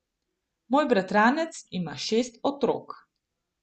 Moj bratranec ima šest otrok.